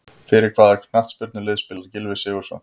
Fyrir hvaða knattspyrnulið spilar Gylfi Sigurðsson?